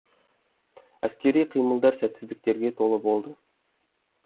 әскери қимылдар сәтсіздіктерге толы болды